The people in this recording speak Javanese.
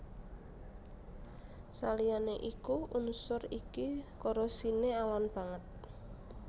Saliyané iku unsur iki korosiné alon banget